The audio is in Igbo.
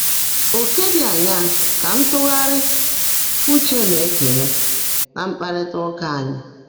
Ọ̀kè dị́ áṅaá kà ntụ́ghárị́ úche ná-èkeèré ná mkpárrị́tá úkà ányị́?